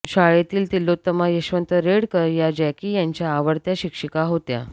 शाळेतील तिलोत्तमा यशवंत रेडकर या जॅकी यांच्या आवडत्या शिक्षिका होत्या